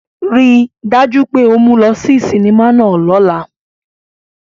Rii daju pe o mu u lọ si sinima náa lọla!